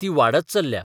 ती बाडत चल्ल्या.